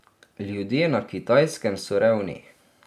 Ljudje na Kitajskem so revni.